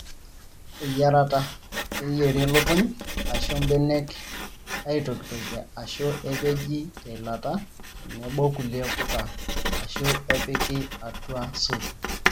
Eyiarata; keyieri lukuny aashu mbenek aitokitokie aashu epeji teilata tenebo kulie puka aashu epiki atua supu.